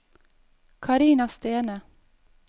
Karina Stene